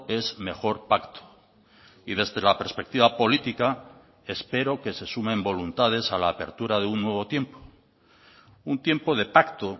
es mejor pacto y desde la perspectiva política espero que se sumen voluntades a la apertura de un nuevo tiempo un tiempo de pacto